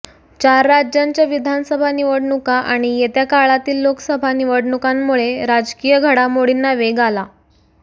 चार राज्यांच्या विधानसभा निवडणुका आणि येत्या काळातील लोकसभा निवडणुकांमुळे राजकीय घडामोडींना वेग आला